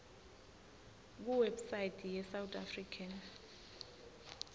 kuwebsite yesouth african